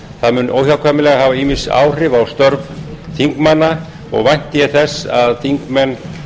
það mun óhjákvæmilega hafa ýmis áhrif á störf þingmanna og vænti ég þess að þingmenn